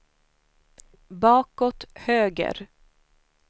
bakåt höger